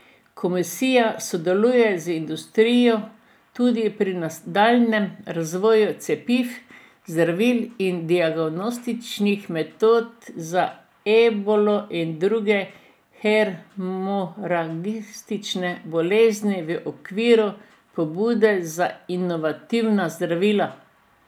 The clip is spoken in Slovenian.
Komisija sodeluje z industrijo tudi pri nadaljnjem razvoju cepiv, zdravil in diagnostičnih metod za ebolo in druge hemoragične bolezni v okviru pobude za inovativna zdravila.